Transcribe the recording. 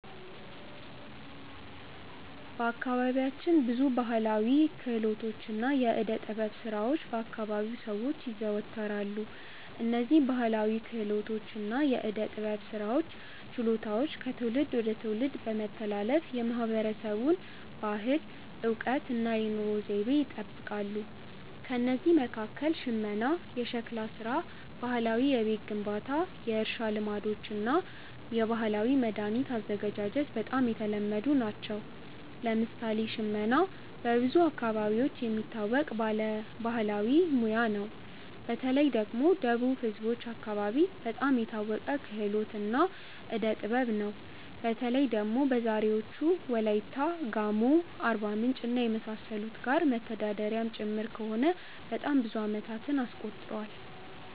በአካባቢያችን ብዙ ባሕላዊ ክህሎቶችና የዕደ ጥበብ ሥራዎች በ አከባቢው ሰዎች ይዘወተራሉ። እነዝህ ባህላዊ ክህሎቶች እና የዕዴ ጥበብ ስራዎች ችሎታዎች ከትውልድ ወደ ትውልድ በመተላለፍ የማህበረሰቡን ባህል፣ እውቀት እና የኑሮ ዘይቤ ይጠብቃሉ። ከእነዚህ መካከል ሽመና፣ ሸክላ ሥራ፣ ባህላዊ የቤት ግንባታ፣ የእርሻ ልማዶች እና የባህላዊ መድኃኒት አዘገጃጀት በጣም የተለመዱ ናቸው። ለምሳሌ ሽመና በብዙ አካባቢዎች የሚታወቅ ባህላዊ ሙያ ነው። በተለይ ደግሞ ወደ ደቡብ ህዝቦች አከባቢ በጣም የታወቀ ክህሎት እና ዕዴ ጥበብ ነው። በተለይ ደግሞ በዛሬዎቹ ዎላይታ፣ ጋሞ፣ አርባምንጭ እና የመሳሰሉት ጋር መተዳደሪያም ጭምር ከሆነ በጣም ብዙ አመታትን አስቆጥሯል።